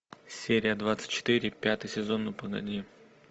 серия двадцать четыре пятый сезон ну погоди